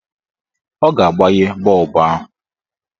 Ọ ga-agbanye bọọbụ ahụ.